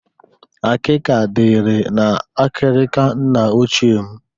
Akịka dịri n'akịrịka nna ochie m.